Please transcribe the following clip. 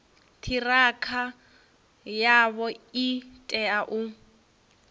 ṱhirakha yavho i tea u